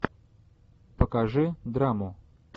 покажи драму